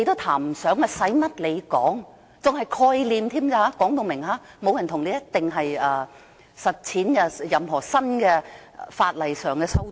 她更說明只是概念，並非承諾一定會實踐任何法例上的新修訂。